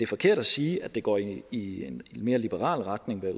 forkert at sige at det går i i en mere liberal retning når